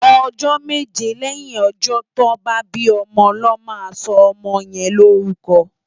Òjò méjé lèyín òjò tò bá bi òmò lò má sò òmò yèn no órùkò